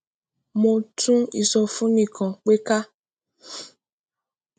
mo tún ìsọfúnni kan to ti pe ká